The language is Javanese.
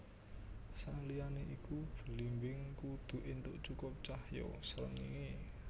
Saliyané iku blimbing kudu éntuk cukup cahya srengenge